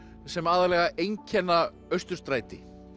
sem aðallega einkenna Austurstræti